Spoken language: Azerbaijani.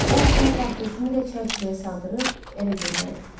O isə portretimi də çərçivəyə saldırıb evə göndərib.